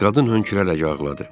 Qadın hönkürərək ağladı.